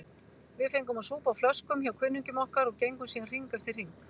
Við fengum að súpa á flöskum hjá kunningjum okkar og gengum síðan hring eftir hring.